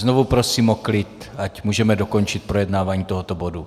Znovu prosím o klid, ať můžeme dokončit projednávání tohoto bodu.